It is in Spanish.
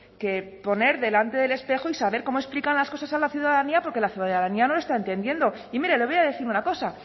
que poner delante del espejo y saber cómo explican las cosas a la ciudadanía porque la ciudadanía no lo está entendiendo y mire le voy a decir una cosa